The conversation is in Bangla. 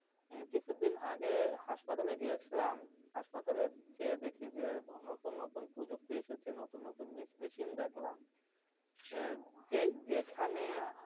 আহ যেখানে কিছুদিন আগে হাসপাতালে গিয়েছিলাম, hospital গিয়ে দেখি যে, নতুন নতুন প্রযুক্তি এসেছে, নতুন নতুন machine দেখলাম.